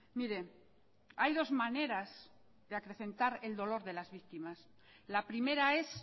mire hay dos maneras de acrecentar el dolor de las víctimas la primera es